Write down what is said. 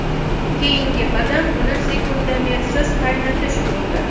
Keyingi qadam uni sekundomersiz qaynatish bo‘ldi.